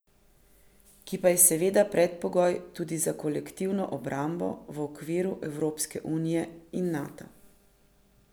Ki pa je seveda predpogoj tudi za kolektivno obrambo v okviru Evropske unije in Nata.